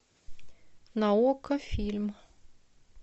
на окко фильм